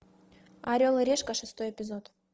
орел и решка шестой эпизод